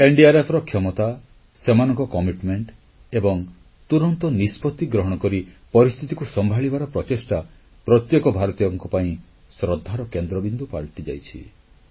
NDRFର କ୍ଷମତା ସେମାନଙ୍କ ପ୍ରତିବଦ୍ଧତା ଏବଂ ତୁରନ୍ତ ନିଷ୍ପତି ଗ୍ରହଣ କରି ପରିସ୍ଥିତିକୁ ସମ୍ଭାଳିବାର ପ୍ରଚେଷ୍ଟା ପ୍ରତ୍ୟେକ ଭାରତୀୟଙ୍କ ପାଇଁ ଶ୍ରଦ୍ଧାର କେନ୍ଦ୍ରବିନ୍ଦୁ ପାଲଟିଯାଇଛି